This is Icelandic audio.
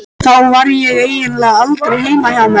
Þá var ég eiginlega aldrei heima hjá mér.